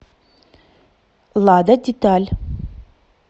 лада деталь